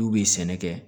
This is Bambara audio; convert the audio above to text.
N'u bɛ sɛnɛ kɛ